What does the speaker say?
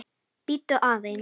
Bíddu aðeins!